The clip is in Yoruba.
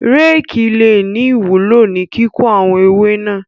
Rékì le ní ìwúló ní kíkó àwọn ewé náà.